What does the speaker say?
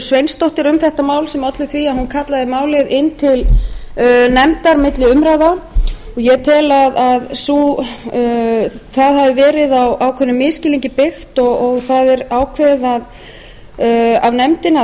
sveinsdóttur um þetta mál sem olli því að hún kallaði málið inn til nefndar milli umræðna og ég tel að það hafi verið á ákveðnum misskilningi byggt og það var ákveðið af nefndinni að